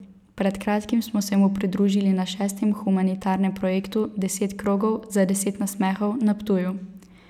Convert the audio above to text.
Pred kratkim smo se mu pridružili na šestem humanitarnem projektu Deset krogov za deset nasmehov na Ptuju.